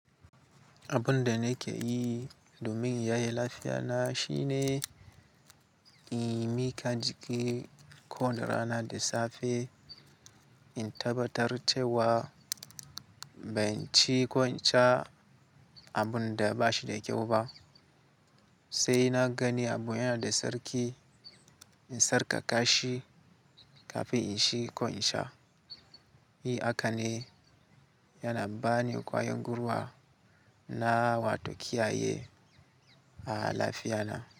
Abun da nake yi domin in ya ye lafiya na shine, in miƙa jiki ko woni rana da safe, in tabbatar cewa ban ci ko in sha abun da ba shi da kyau ba. Sai na gani abu yana da sarki, in tsarkaka shi kafin in ci ko in sha. Yi haka ne yana bani ƙwayan guruwa na wato kiyaye a lafiya na.